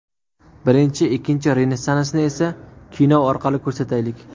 Birinchi, ikkinchi Renessansni esa kino orqali ko‘rsataylik.